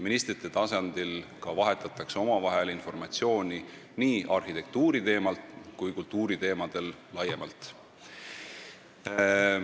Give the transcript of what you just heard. Ministrid vahetavad omavahel informatsiooni nii arhitektuuri- kui ka kultuuriteemadel laiemalt.